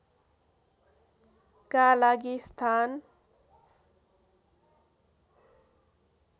का लागि स्थान